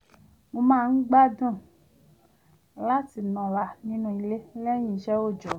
mo máa ń gbádùn láti nọra nínú ilé lẹ́yìn iṣẹ́ òòjó